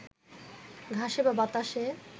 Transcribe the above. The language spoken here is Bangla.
ঘাসে বা বাতাসে